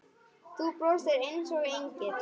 Þú brosir einsog engill.